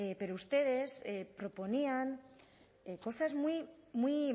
pero ustedes proponían cosas muy muy